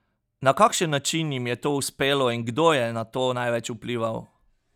Na kakšen način jim je to uspelo in kdo je na to največ vplival?